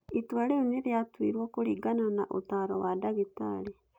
Itua rĩu nĩ rĩatuirwo kũringana na ũtaaro wa ndagĩtarĩ.